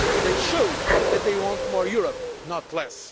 union. They showed that they want more Europe,